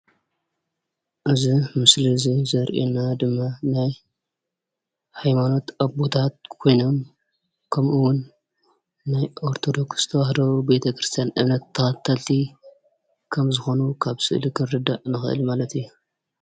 እዚ ምስሊ እዚ ዘርእየና ድማ ናይ ሃይማኖት አቦታት ኮይኖም ከምኡ’ውን ናይ ኦርቶዶክሰ ተዋህዶ ቤተ ክርስትያን እምነት ተኸተልቲ ከም ዝኾኑ ካብዚ ስእሊ ክንርዳእ ንኸእል ማለት እዩ፡፡